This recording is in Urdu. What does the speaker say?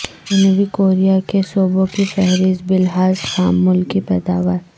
جنوبی کوریا کے صوبوں کی فہرست بلحاظ خام ملکی پیداوار